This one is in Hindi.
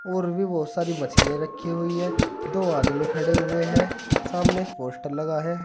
और भी बहुत सारी मशीन रखी हुई है दो आदमी खड़े हुए हैं सामने पोस्टर लगा है।